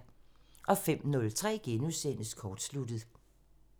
05:03: Kortsluttet *